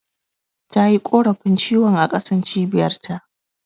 Tayi korafi ciwon a ƙasan Cibiyar ta